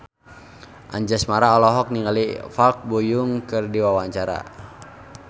Anjasmara olohok ningali Park Bo Yung keur diwawancara